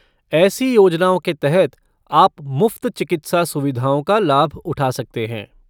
ऐसी योजनाओं के तहत आप मुफ्त चिकित्सा सुविधाओं का लाभ उठा सकते हैं।